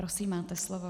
Prosím, máte slovo.